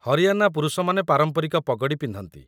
ହରିଆନା ପୁରୁଷମାନେ ପାରମ୍ପରିକ ପଗଡ଼ି ପିନ୍ଧନ୍ତି